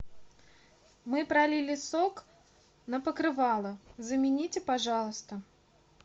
мы пролили сок на покрывало замените пожалуйста